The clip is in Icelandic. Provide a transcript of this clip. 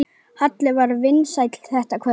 Halli var vinsæll þetta kvöld.